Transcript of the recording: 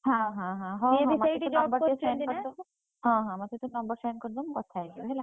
ହଁ ହଁ ହଁ ହଁ ହଁ ମତେ ସେ number send କରିଦବ ମୁଁ କଥା ହେଇଯିବି ହେଲା?